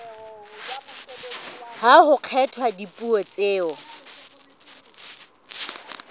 ha ho kgethwa dipuo tseo